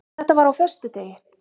Þetta var á föstudegi.